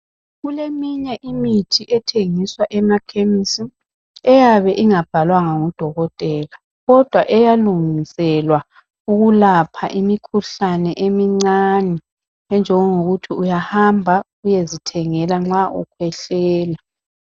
Kuleminye imithi ethengiswa emakhemisi eyabe ingabhalwanga ngudokotela kodwa eyalungiselwa ukwelapha imikhuhlane emincane enjengokuthi uyahamba uyezithengela nxa ukhwehlela.